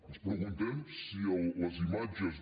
ens preguntem si les imatges de